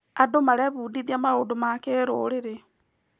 Andũ marebundithia maũndũ ma kĩrũrĩrĩ.